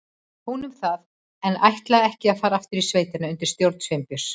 Hún um það, en ég ætlaði ekki að fara aftur í sveitina undir stjórn Sveinbjörns.